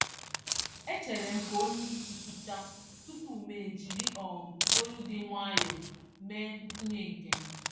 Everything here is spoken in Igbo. E cheerem ka onyeisi kwuchaa, tupu mụ e jírí um olu dị nwayọọ mee ntụnye nkem